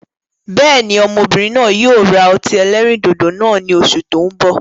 Bẹ́ẹ̀ni, Ọmọbìnrin náà yíi ó ra ọtí ẹlẹ́rìndòdò náà ni Oṣù tó ń bọ̀.